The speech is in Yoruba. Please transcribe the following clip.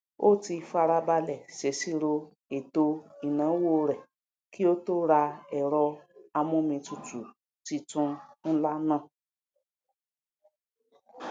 ó ti farabalẹ sèsirò ètò ìnáwó rẹ kí ó tó ra ẹrọ amómitutù titun ńlá náà